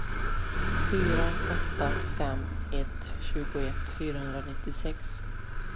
fyra åtta fem ett tjugoett fyrahundranittiosex